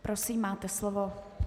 Prosím, máte slovo.